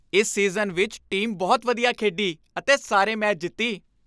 ਇਸ ਸੀਜ਼ਨ ਵਿੱਚ ਟੀਮ ਬਹੁਤ ਵਧੀਆ ਖੇਡੀ ਅਤੇ ਸਾਰੇ ਮੈਚ ਜਿੱਤੀ ।